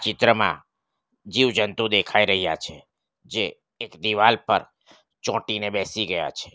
ચિત્રમાં જીવજંતુ દેખાઈ રહ્યા છે જે એક દિવાલ પર ચોટીને બેસી ગયા છે.